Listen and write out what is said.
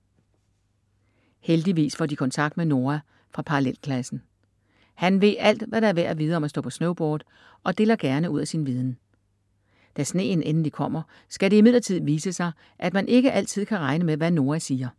Heldigvis får de kontakt med Noa fra parallelklassen. Han ved alt hvad der er værd at vide om at stå på snowboard og deler gerne ud af sin viden. Da sneen endelig kommer skal det imidlertid vise sig, at man ikke altid kan regne med hvad Noa siger.